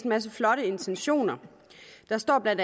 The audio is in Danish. masse flotte intentioner der står bla